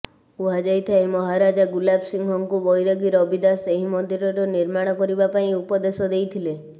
କୁହାଯାଇଥାଏ ମହାରାଜା ଗୁଲାବ ସିଂହଙ୍କୁ ବୈରାଗୀ ରବିଦାସ ଏହି ମନ୍ଦିରର ନିର୍ମାଣ କରିବା ପାଇଁ ଉପଦେଶ ଦେଇଥିଲେ